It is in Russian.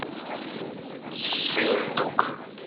сыендук